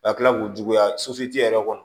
Ka kila k'u juguya yɛrɛ kɔnɔ